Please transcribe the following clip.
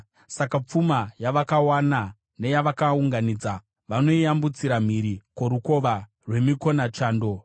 Saka pfuma yavakawana neyavakaunganidza vanoiyambutsira mhiri kworukova rwemikonachando.